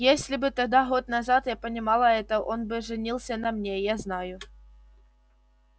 если бы тогда год назад я понимала это он бы женился на мне я знаю